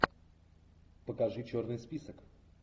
покажи черный список